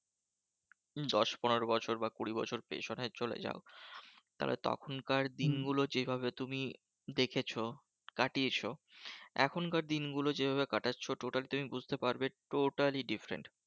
দশ পনেরো বছর বা কুড়ি বছর পেছনে চলে যাও, তাহলে তখনকার দিন গুলো যেভাবে তুমি দেখেছো কাটিয়েছ, এখনকার দিনগুলো যেভাবে কাটাচ্ছো, total তুমি বুঝতে পারবে totally different.